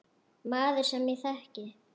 Maður, sem ég þekki.